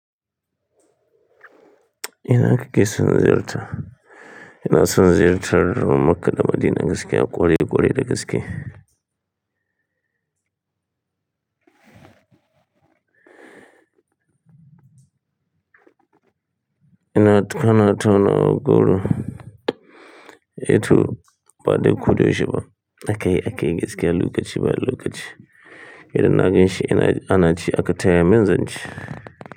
Ina kake sun ziyarta? Ina sun ziyartar Makka da Madina gaskiya, ƙware-ƙware da gaske. Ina tukana, tana ƙauye. E, tu baɗi kuɗi shi ba. A kai a kai gaskiya, lokaci ba lokaci. Idan na ganshi ina ana ci aka taya min zance.